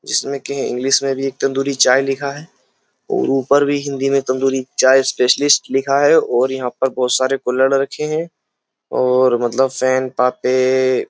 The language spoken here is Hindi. जिसमें कि इंग्लिश में भी एक तंदूरी चाय लिखा है और ऊपर भी हिंदी में तंदूरी चाय स्पेशलिस्ट लिखा है और यहां पर बहुत सारे कोलर रखे हैं और मतलब फैन पापे --